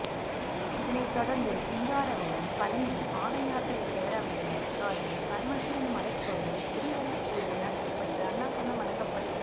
இதனை தொடர்ந்து சிங்காரவேலன் பழனி பாதயாத்திரை பேரவையினர் சார்பில் பரமசிவன் மலைக்கோவிலில் கிரிவல பூஜை நடத்தப்பட்டு அன்னதானம் வழங்கப்பட்டது